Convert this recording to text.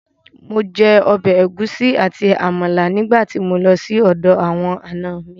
Mo jẹ ọbẹ̀ ẹ̀gúsí àti Àmàlà nígbà tí mo lọ sí ọ̀dọ̀ àwọn ànọ mi